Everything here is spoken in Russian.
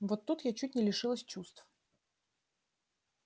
вот тут я чуть не лишилась чувств